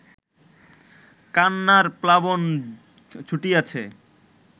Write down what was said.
কান্নার প্লাবন ছুটিয়াছে